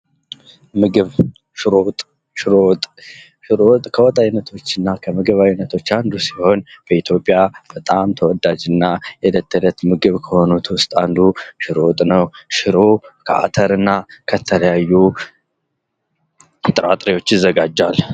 ምግብ ሽሮ ወጥ ሽሮ ወጥ ከወጥ አይነቶችና ከምግብ አይነቶች አንዱ ሲሆን በኢትዮጵያ በጣም ተወዳጅና የእለት ተእለት ምግብ የሆነ በቤት ውስጥ አንዱ ሽሮ ወጥ ነው። ሽሮ ከአተርና ከተለያዩ ጥራጥሬዎች ይዘጋጃል።